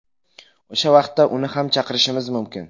O‘sha vaqtda uni ham chaqirishimiz mumkin.